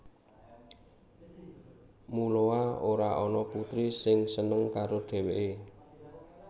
Muloa ora ana putri sing seneng karo dheweke